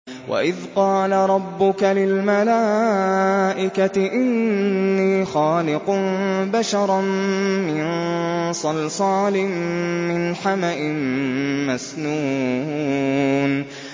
وَإِذْ قَالَ رَبُّكَ لِلْمَلَائِكَةِ إِنِّي خَالِقٌ بَشَرًا مِّن صَلْصَالٍ مِّنْ حَمَإٍ مَّسْنُونٍ